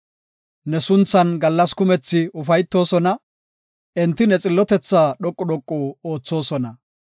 Ne sunthan gallas kumethi ufaytoosona; enti ne xillotethaa dhoqu dhoqu oothosona.